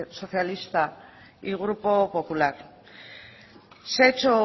socialista y grupo popular se ha hecho